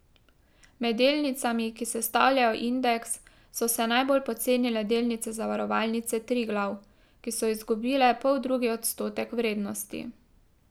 Med delnicami, ki sestavljajo indeks, so se najbolj pocenile delnice Zavarovalnice Triglav, ki so izgubile poldrugi odstotek vrednosti.